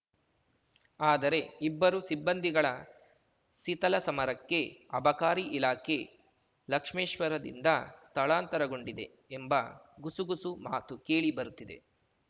ಆದರೆ ಇಬ್ಬರು ಸಿಬ್ಬಂದಿಗಳ ಸೀತಲ ಸಮರಕ್ಕೆ ಅಬಕಾರಿ ಇಲಾಖೆ ಲಕ್ಷ್ಮೇಶ್ವರದಿಂದ ಸ್ಥಳಾಂತರಗೊಂಡಿದೆ ಎಂಬ ಗುಸುಗುಸು ಮಾತು ಕೇಳಿ ಬರುತ್ತಿದೆ